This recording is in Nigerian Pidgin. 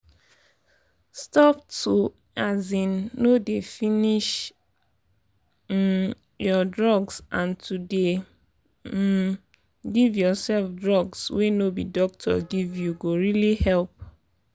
stop to um no dey finish um your drugs and to dey um give yourself drugs wey no be doctor give you go really help.